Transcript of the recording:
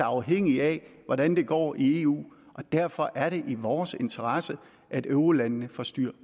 afhængige af hvordan det går i eu derfor er det i vores interesse at eurolandene få styr